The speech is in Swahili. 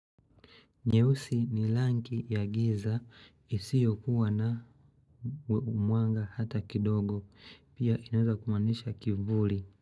Nyeusi ni langi ya giza isiyokuwa na umwanga hata kidogo pia inaeza kumanisha kivuli.